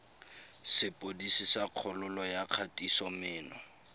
sepodisi sa kgololo ya kgatisomenwa